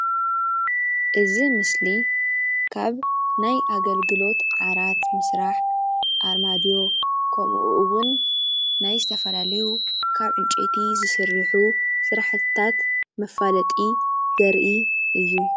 እዚ ምስሊ ካብ ናይ ኣገልግሎት ዓራት ምስራሕ ኣርማድዮ ከምኡ እውን ናይ ዝተፈላለዩ ካብ ዕንጨይቲ ዝስርሑ ስራሕቲታት መፋለጢ ዘርኢ እዩ፡፡